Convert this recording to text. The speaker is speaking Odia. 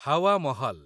ହାୱା ମହଲ୍